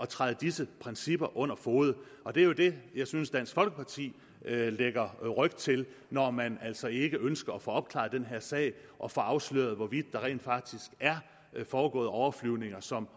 træder disse principper under fode og det er jo det jeg synes at dansk folkeparti lægger ryg til når man altså ikke ønsker at få opklaret den her sag og få afsløret hvorvidt der rent faktisk er foregået overflyvninger som